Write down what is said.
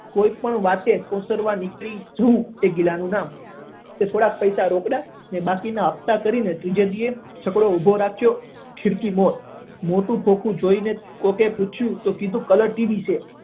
કોઈ પણ વાંકે ઓસરવાથી નીકળવું એ ગિલા નું નામ એટલે થોડા પૈસા રોકડા અને બાકી ના હફ્તા કરીને ત્રીજે દિવસે છકડો ઉભો રાખ્યો ખિડકી બોર મોટું ખોખું જોઈને કોઈક એ પૂછ્યું તો કીધું કે coloured ટીવી છે